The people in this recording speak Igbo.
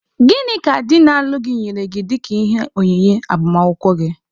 Gịnị ka di na-alụ gị nyere gị dịka ihe onyinye agbamakwụkwọ gị?